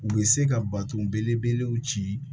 U bɛ se ka bato belebelew ci